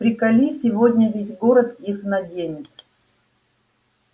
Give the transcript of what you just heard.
приколи сегодня весь город их наденет